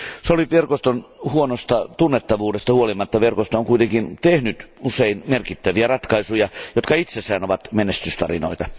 SOLVIT verkoston huonosta tunnettavuudesta huolimatta verkosto on kuitenkin tehnyt usein merkittäviä ratkaisuja, jotka itsessään ovat menestystarinoita.